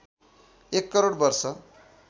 १ करोड वर्ष